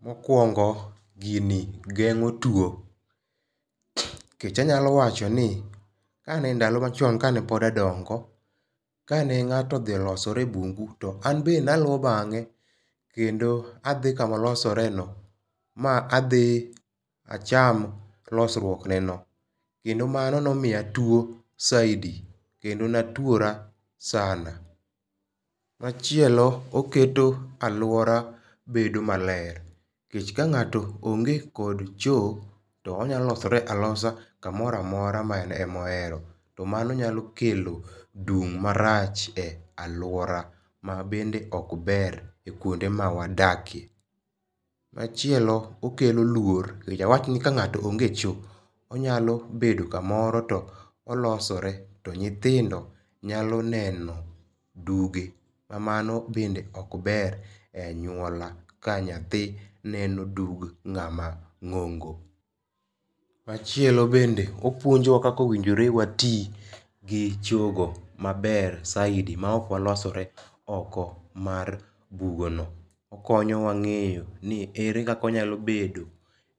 Mokwongo gini gengo tuo. Nikech anyalo wacho ni kane ndalo machon kane pod adongo. Kane ng'ato odhi losore e bungu to an be naluo bang'e kendo adhi kamolosore ma adhi acham losruok neno. Kendo mano nomiya tuo zaidi kendo natuora sana. Machielo oketo aluora bedo maler. Nikech ka ng'ato onge kod cho to onya losore alosa kamoro amora ma en omohero. To mano nyalo kelo dung' marach e aluora ma bende ok ber kuonde ma wadakie. Machielo okelo luor nikech awach ni ka ng'ato onge cho onyalo bedo kamoro to olosore to nyithindo nyalo neno duge ma mano be ok ber a aluora ka nyathi neno dug ng'ama ng'ongo. Machielo bende opuonjo wa kaka owinjore wati gi chogo maber saidi ma ok walosore oko mar bugo no. Okonyowa ng'iyo ni ere kaka wanyalo bedo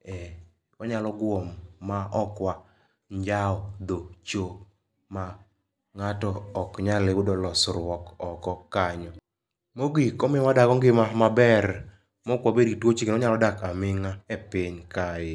e wanyalo guom ma ok wanjao dho cho ma ng'ato ok nyal yudo losruok oko kanyo. Mogik omiyowa wadago ngima maber mok wabed gi tuoche. Wanyalo dak aming'a e piny kae.